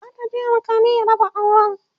za ta je alkali ya raba auran